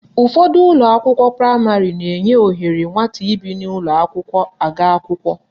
Ụfọdụ ụlọakwụkwọ praịmarị na-enye ohere nwata ibi n'ụlọakwụkwọ aga akwụkwọ